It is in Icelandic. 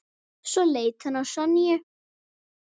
Svo leit hann á Sonju.